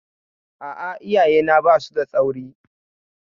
A'a, iyayena ba su da tsauri.